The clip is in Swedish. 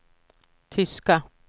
tyska